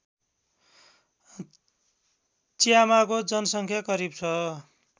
च्यामाको जनसङ्ख्या करिब छ